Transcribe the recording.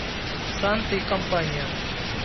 санта и компания